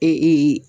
Ee